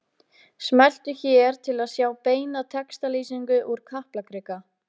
Smelltu hér til að sjá beina textalýsingu úr Kaplakrika